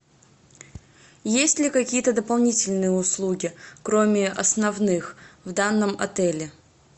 есть ли какие то дополнительные услуги кроме основных в данном отеле